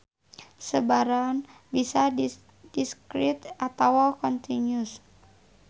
Sebaran bisa discrete atawa continuous.